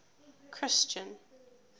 christian